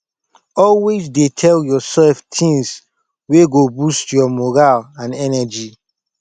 always dey tel urself tins wey go boost yur moral and energy